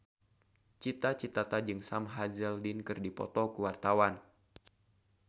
Cita Citata jeung Sam Hazeldine keur dipoto ku wartawan